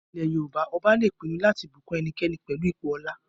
Ní ilẹ̀ Yorùbá, ọba lè pinu láti bùkún ẹnikẹni pẹlú ipò ọlá